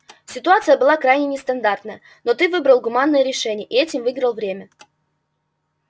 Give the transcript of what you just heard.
ситуация была крайне нестандартная но ты выбрал гуманное решение и этим выиграл время